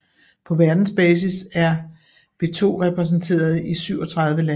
På verdensbasis er be2 repræsenteret i 37 lande